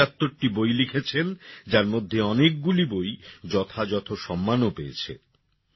তিনি ৭৫টি বই লিখেছেন যার মধ্যে অনেকগুলি বই যথাযথ সম্মানও পেয়েছে